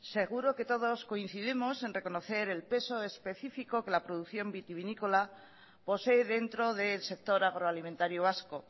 seguro que todos coincidimos en reconocer el peso específico que la producción vitivinícola posee dentro del sector agroalimentario vasco